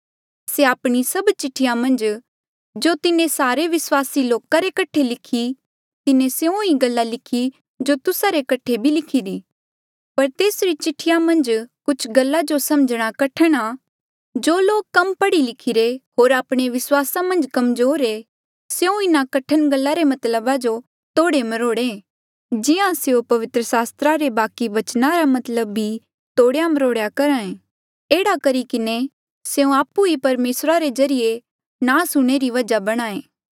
से आपणी सभ चिठ्ठीया मन्झ जो तिन्हें सारे विस्वासी लोका रे कठे लिखी तिन्हें स्यों ही गल्ला लिखी जो तुस्सा रे कठे भी लिखीरी पर तेसरी चिठिया मन्झ कुछ गल्ला जो समझणा कठण आ जो लोक कम पढ़ी लिखिरे होर आपणे विस्वासा मन्झ कमजोर ऐें स्यों इन्हा कठण गल्ला रे मतलबा जो तोड़े मरोड़े जिहां स्यों पवित्र सास्त्रा रे बाकि बचना रा मतलब भी तोड़ मरोड़ करहा ऐें एह्ड़ा करी किन्हें स्यों आपु ही परमेसरा रे ज्रीए नास हूंणे री वजहा बणहां ऐें